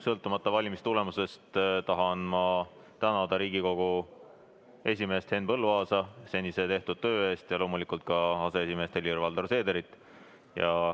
Sõltumata valimistulemustest tahan ma tänada Riigikogu esimeest Henn Põlluaasa ja loomulikult ka aseesimeest Helir-Valdor Seederit tehtud töö eest.